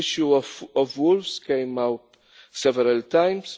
The issue of wolves came out several